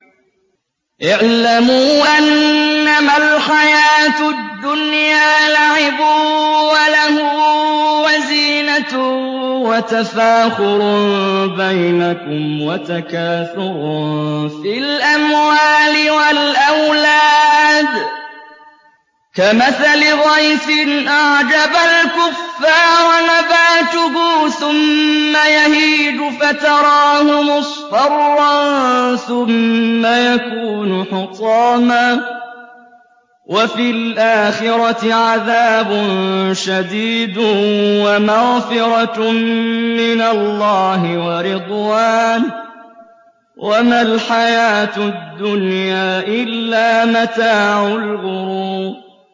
اعْلَمُوا أَنَّمَا الْحَيَاةُ الدُّنْيَا لَعِبٌ وَلَهْوٌ وَزِينَةٌ وَتَفَاخُرٌ بَيْنَكُمْ وَتَكَاثُرٌ فِي الْأَمْوَالِ وَالْأَوْلَادِ ۖ كَمَثَلِ غَيْثٍ أَعْجَبَ الْكُفَّارَ نَبَاتُهُ ثُمَّ يَهِيجُ فَتَرَاهُ مُصْفَرًّا ثُمَّ يَكُونُ حُطَامًا ۖ وَفِي الْآخِرَةِ عَذَابٌ شَدِيدٌ وَمَغْفِرَةٌ مِّنَ اللَّهِ وَرِضْوَانٌ ۚ وَمَا الْحَيَاةُ الدُّنْيَا إِلَّا مَتَاعُ الْغُرُورِ